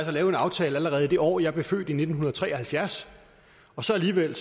få lavet en aftale allerede i det år jeg blev født i nitten tre og halvfjerds og så alligevel